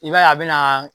I b'a ye a bɛ na